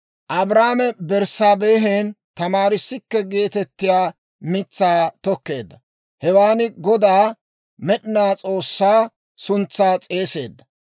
Abrahaame Berssaabehen Tamaariskke geetettiyaa mitsaa tokkeedda. Hewaan Godaa, Med'ina S'oossaa, suntsaa s'eeseedda.